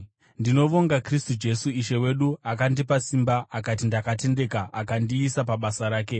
Ndinovonga Kristu Jesu Ishe wedu, akandipa simba, akati ndakatendeka, akandiisa pabasa rake.